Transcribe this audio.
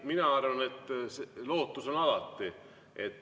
Mina arvan, et lootus on alati.